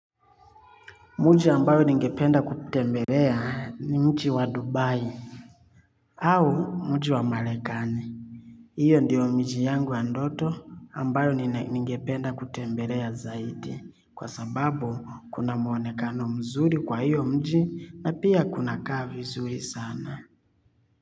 Mji ambao ningependa kutembelea ni mji wa Dubai au mji wa Marekani. Hiyo ndio miji yangu ya ndoto ambayo ningependa kutembelea zaidi kwa sababu kuna mwonekano mzuri kwa hiyo mji na pia kunakaa vizuri sana.